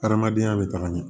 Hadamadenya bɛ taga ɲɛ